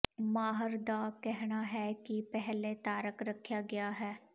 ਮਾਹਰ ਦਾ ਕਹਿਣਾ ਹੈ ਕਿ ਪਹਿਲੇ ਧਾਰਕ ਰੱਖਿਆ ਗਿਆ ਹੈ